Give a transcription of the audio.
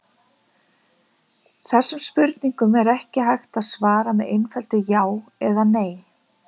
þessum spurningum er ekki hægt að svara með einföldu „já“ eða „nei“